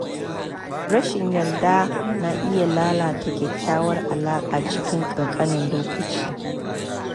Rashin yarda na iya lalata kyakkyawar alaƙa cikin kankanin lokaci.